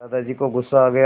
दादाजी को गुस्सा आ गया